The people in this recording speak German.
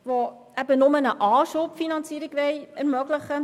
Sie will nur eine Anschubfinanzierung ermöglichen.